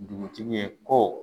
Dugutigi ye kɔ